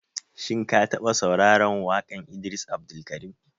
Shin ka taɓa sauraran waƙan Idris Abdulkarim?